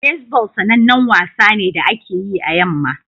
Baseball sanannen wasa ne da ake yi a yamma